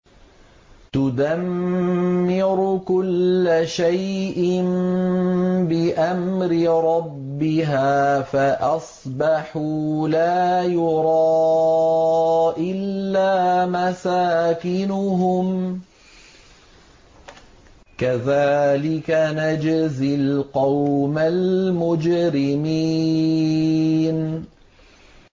تُدَمِّرُ كُلَّ شَيْءٍ بِأَمْرِ رَبِّهَا فَأَصْبَحُوا لَا يُرَىٰ إِلَّا مَسَاكِنُهُمْ ۚ كَذَٰلِكَ نَجْزِي الْقَوْمَ الْمُجْرِمِينَ